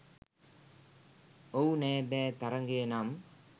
"ඔව් නෑ බෑ" තරඟය නම්